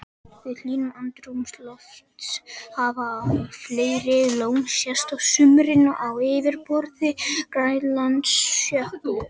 Við hlýnun andrúmslofts hafa æ fleiri lón sést á sumrin á yfirborði Grænlandsjökuls.